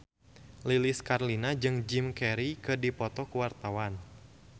Lilis Karlina jeung Jim Carey keur dipoto ku wartawan